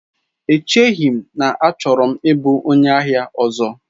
Echeghị m na achọrọ m ịbụ onye ahịa ọzọ.